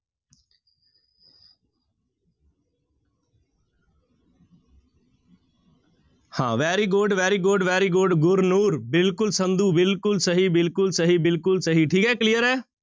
ਹਾਂ very good, very good, very good Gurnoor ਬਿਲਕੁਲ ਸੰਧੂ ਬਿਲਕੁਲ ਸਹੀ, ਬਿਲਕੁਲ ਸਹੀ, ਬਿਲਕੁਲ ਸਹੀ, ਠੀਕ ਹੈ clear ਹੈ।